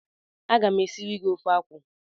A ga m e siri gi ofe akwụ.